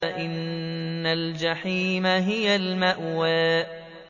فَإِنَّ الْجَحِيمَ هِيَ الْمَأْوَىٰ